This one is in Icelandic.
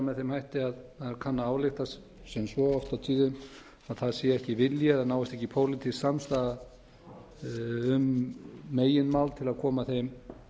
með þeim hætti að kanna að álykta sem svo oft á tíðum að það sé ekki vilji eða náist ekki pólitísk samstaða um meginmál til að koma þeim